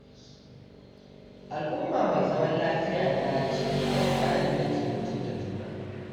Al’umma mai zaman lafiya na cike da mutanen da ke mutunta juna.